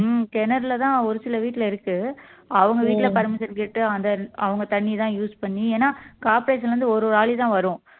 உம் கிணறுலதான் ஒரு சில வீட்டுல இருக்கு அவங்க வீட்டுல permission கேட்டு அந்த அவங்க தண்ணிதான் use பண்ணி ஏன்னா corporation ல இருந்து ஒரு ஒரு ஆளிதான் வரும்